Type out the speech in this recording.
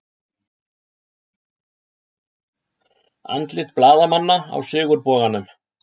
Andlit blaðamanna á Sigurboganum